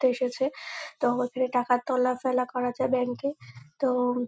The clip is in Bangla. তে এসেছে। তো এখানে টাকা তোলা ফেলা করা যায় ব্যাঙ্ক -এ। তো --